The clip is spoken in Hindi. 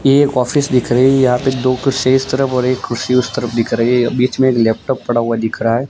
ये एक ऑफिस दिख रही है यहां पे दो कुर्सीयाँ एक तरफ और एक कुर्सी उस तरफ दिख रही है बीच में एक लैपटॉप पड़ा हुआ दिख रहा है।